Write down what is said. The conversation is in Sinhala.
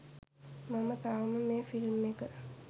මම තවම මේ ෆිල්ම් එක